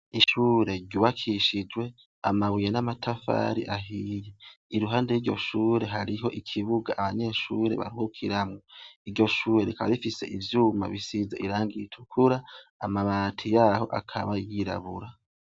Ishure ryubakishijwe amabuye n'amatafari ahiye iruhande yiryo shure hariho ikibuga abanyeshure baruhukiramwo iryo shure rikaba rifise ivyuma bisisze irangi ritukura, amabati yaryo akaba yirabura.